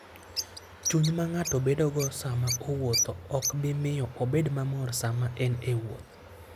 Chuny ma ng'ato bedogo sama owuotho ok bi miyo obed mamor sama en e wuoth.